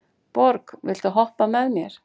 Borg, viltu hoppa með mér?